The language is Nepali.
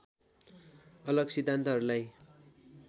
अलग सिद्धान्तहरूलाई